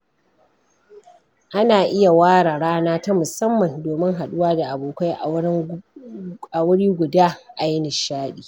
Ana iya ware rana ta musamman domin haɗuwa da abokai a wuri guda ayi nishaɗi.